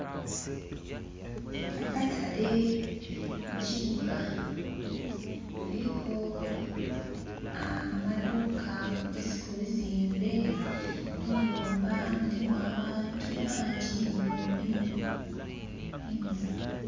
Akatale mu kibuga kuliku amaduuka ku bizimbe mu buyumba mulimu abantu bangi inho, inho.